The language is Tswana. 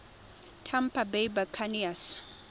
tampa bay buccaneers